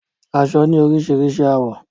Aṣọ ni orísirísi àwọ́